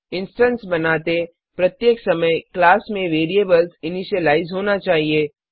instance बनाते प्रत्येक समय क्लास में वेरिएबल्स इनिशीलाइज होना चाहिए